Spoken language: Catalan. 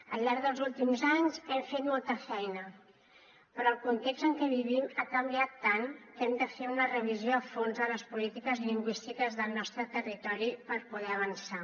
al llarg dels últims anys hem fet molta feina però el context en què vivim ha canviat tant que hem de fer una revisió a fons de les polítiques lingüístiques del nostre territori per poder avançar